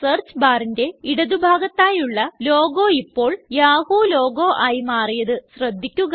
search barന്റെ ഇടതുഭാഗത്തായുള്ള logo ഇപ്പോള് യാഹൂ ലോഗോ ആയി മാറിയത് ശ്രദ്ധിക്കുക